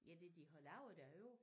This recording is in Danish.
Ja det de har lavet derovre?